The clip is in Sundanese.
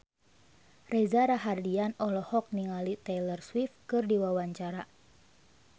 Reza Rahardian olohok ningali Taylor Swift keur diwawancara